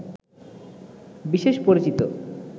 বিশেষ পরিচিত